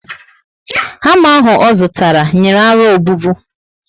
Hama ahụ o zụtara, nyìrí aro obubu